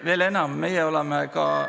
Veel enam, meie oleme ka ...